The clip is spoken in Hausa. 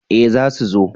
Eh za su zo